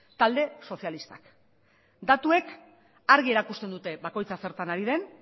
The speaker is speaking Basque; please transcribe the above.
talde sozialistak datuek argi erakusten dute bakoitza zertan ari den